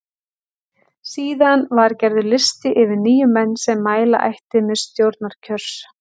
Síðan var gerður listi yfir níu menn sem mæla ætti með til stjórnarkjörs.